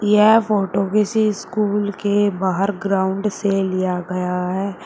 यह फोटो किसी स्कूल के बाहर ग्राउंड से लिया गया है।